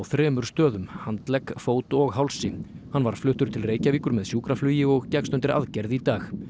þremur stöðum handlegg fót og hálsi hann var fluttur til Reykjavíkur með sjúkraflugi og gekkst undir aðgerð í dag